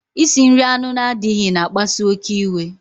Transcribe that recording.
Isi nri anụ na-adịghị na akpasu oké iwe